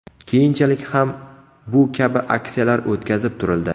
Keyinchalik ham bu kabi aksiyalar o‘tkazib turildi.